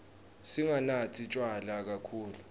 singanatsi tjwala kakhulu